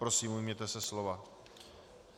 Prosím, ujměte se slova.